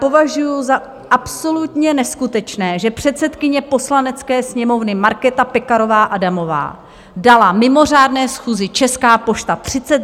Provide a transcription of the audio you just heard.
Považuji za absolutně neskutečné, že předsedkyně Poslanecké sněmovny Markéta Pekarová Adamová dala mimořádné schůzi Česká pošta 30 minut.